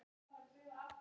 Halda sitt eigið partí.